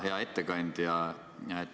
Hea ettekandja!